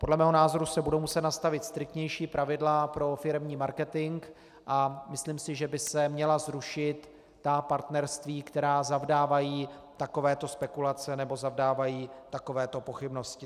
Podle mého názoru se budou muset nastavit striktnější pravidla pro firemní marketing a myslím si, že by se měla zrušit ta partnerství, která zavdávají takovéto spekulace nebo zavdávají takovéto pochybnosti.